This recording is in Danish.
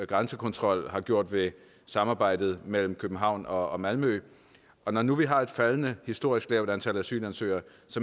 grænsekontrol har gjort ved samarbejdet mellem københavn og malmø når nu vi har et faldende historisk lavt antal asylansøgere